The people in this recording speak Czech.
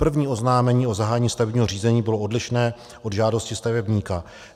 První oznámení o zahájení stavebního řízení bylo odlišné od žádosti stavebníka.